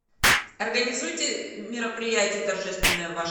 организуйте мероприятие торжественное в вашем